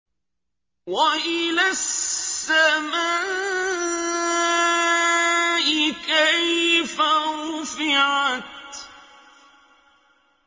وَإِلَى السَّمَاءِ كَيْفَ رُفِعَتْ